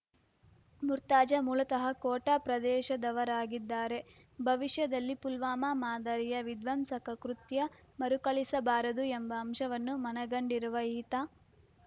ಮುರ್ತಾಜಾ ಮೂಲತಃ ಕೋಟಾ ಪ್ರದೇಶದವರಾಗಿದ್ದಾರೆ ಭವಿಷ್ಯದಲ್ಲಿ ಪುಲ್ವಾಮ ಮಾದರಿಯ ವಿಧ್ವಂಸಕ ಕೃತ್ಯ ಮರುಕಳಿಸಬಾರದು ಎಂಬ ಅಂಶವನ್ನು ಮನಗಂಡಿರುವ ಈತ